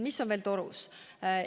Mis on veel torus?